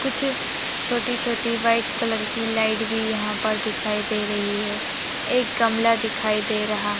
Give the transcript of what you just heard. कुछ छोटी छोटी व्हाइट कलर की लाइट भी याह पर दिखाई दे रही है एक गमला दिखाई दे रहा--